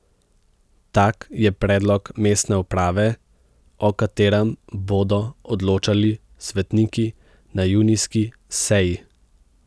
Tak je predlog mestne uprave, o katerem bodo odločali svetniki na junijski seji.